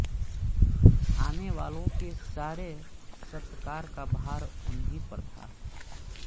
आने वालों के सारे सत्कार का भार उन्हीं पर था